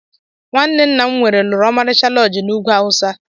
Nwanne ńnà m nwere lụrụ Omalicha loodji n' úgwú awusa.